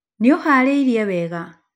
Nĩ ũhaarĩirie wega?